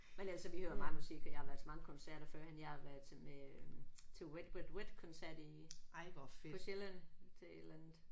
Men altså vi hører meget musik og jeg har været til mange koncerter førhen. Jeg har været til med til Wet Wet Wet koncert i på Sjælland til et eller andet